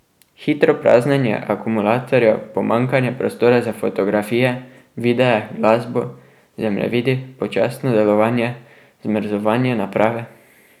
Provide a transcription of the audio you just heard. Hitro praznjenje akumulatorjev, pomanjkanje prostora za fotografije, videe, glasbo, zemljevidi, počasno delovanje, zmrzovanje naprave ...